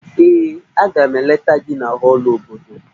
Ee, Aga m eleta gị na họọlụ obodo